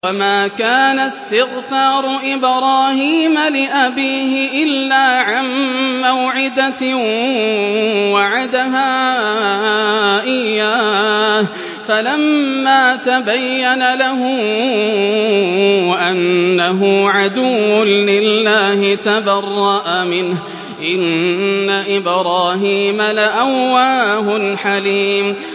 وَمَا كَانَ اسْتِغْفَارُ إِبْرَاهِيمَ لِأَبِيهِ إِلَّا عَن مَّوْعِدَةٍ وَعَدَهَا إِيَّاهُ فَلَمَّا تَبَيَّنَ لَهُ أَنَّهُ عَدُوٌّ لِّلَّهِ تَبَرَّأَ مِنْهُ ۚ إِنَّ إِبْرَاهِيمَ لَأَوَّاهٌ حَلِيمٌ